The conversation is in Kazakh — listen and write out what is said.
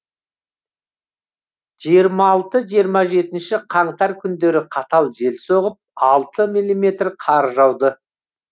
жиырма алты жиырма жетінші қаңтар күндері қатты жел соғып алты милиметр қар жауды